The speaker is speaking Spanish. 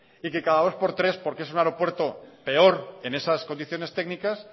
y que cada dos por tres porque es un aeropuerto peor en esas condiciones técnicas